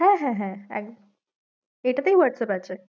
হ্যাঁ হ্যাঁ হ্যাঁ এটা তেই whatsapp আছে।